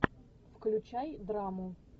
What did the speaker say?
включай драму